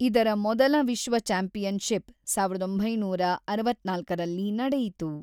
ಇದರ ಮೊದಲ ವಿಶ್ವ ಚಾಂಪಿಯನ್‌ಷಿಪ್ ಸಾವಿರದ ಒಂಬೈನೂರ ಅರವತ್ತ್ನಾಲ್ಕರಲ್ಲಿ ನಡೆಯಿತು.